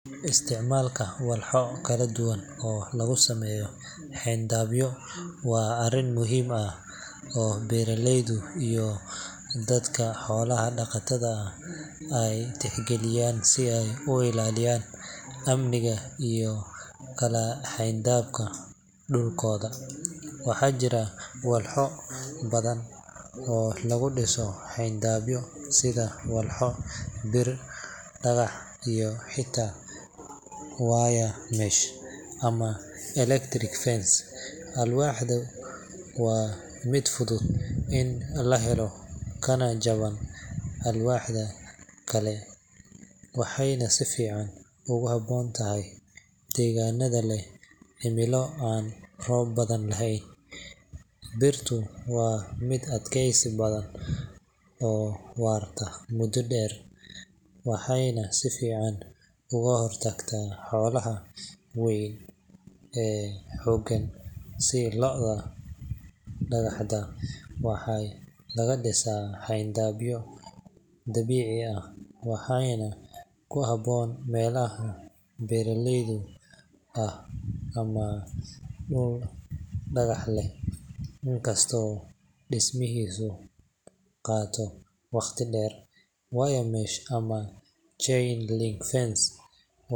Isticmaalka walxo kala duwan oo lagu sameeyo xayndaabyo waa arrin muhiim ah oo beeraleyda iyo dadka xoolaha dhaqda ay tixgeliyaan si ay u ilaaliyaan amniga iyo kala xadaynta dhulkooda. Waxaa jira walxo badan oo lagu dhiso xayndaabyo sida alwaax, bir, dhagax, iyo xitaa wire mesh ama electric fence. Alwaaxdu waa mid fudud in la helo kana jaban walxaha kale, waxayna si fiican ugu habboon tahay deegaanada leh cimilo aan roob badan lahayn. Birtu waa mid adkaysi badan oo waarta muddo dheer, waxayna si fiican uga hortagtaa xoolaha weyn ee xooggan sida lo’da. Dhagaxda waxaa laga dhisaa xayndaabyo dabiici ah, waxaana ku habboon meelaha buuraleyda ah ama dhul dhagax leh, inkastoo dhismihiisu qaato waqti dheer. Wire mesh ama chain link fence.